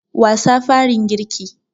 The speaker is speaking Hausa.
Wasa farin girki